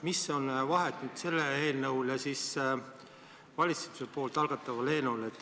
Mis vahe on sellel eelnõul ja valitsuse algatatud eelnõul?